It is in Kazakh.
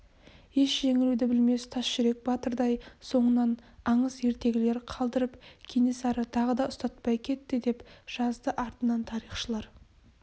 еш жеңілуді білмес тас жүрек батырдай соңынан аңыз-ертегілер қалдырып кенесары тағы да ұстатпай кетті деп жазды артынан тарихшылар